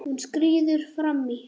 Hún skríður fram í.